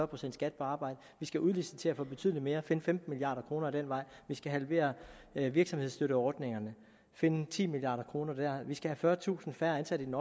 procent skat på arbejde vi skal udlicitere betydelig mere og finde femten milliard kroner ad den vej vi skal halvere virksomhedsstøtteordningerne og finde ti milliard kroner der vi skal have fyrretusind færre ansatte i den